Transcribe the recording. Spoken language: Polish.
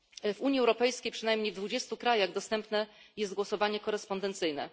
W Unii Europejskiej przynajmniej w 20 krajach dostępne jest głosowanie korespondencyjne.